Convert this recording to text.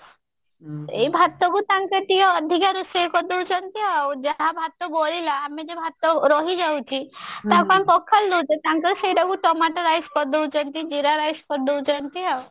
ଏଇ ଭାତ କୁ ତାଙ୍କର ଟିକେ ଅଧିକା ରୋଷେଇ କରି ଦଉଛନ୍ତି ଆଉ ଯାହା ଭାତ ବଳିଲା ଆମେ ଜଓୟାଉ ଭାତ ରହି ଯାଉଛି ତାକୁ ଆମେ ପଖାଳି ଦଉଛେ ତାଙ୍କର ସେଇଟା କୁ tomato rice କରି ଦଉଛନ୍ତି ଜିରା rice କରି ଦଉଛନ୍ତି ଆଉ